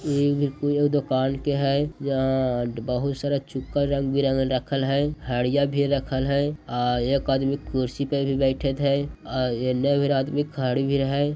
ई बिल्कुल ऊ दुकान के है जहां बहुत सारा चुकार रंग बिरंग रख हैं खाड़ी भी राखल हैं आ एक आदमी कुर्सी पर भी बैठे थे। आ नवीर आदमी खाड़े भी रहे--